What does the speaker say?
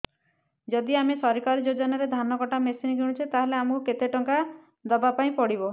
ଯଦି ଆମେ ସରକାରୀ ଯୋଜନାରେ ଧାନ କଟା ମେସିନ୍ କିଣୁଛେ ତାହାଲେ ଆମକୁ କେତେ ଟଙ୍କା ଦବାପାଇଁ ପଡିବ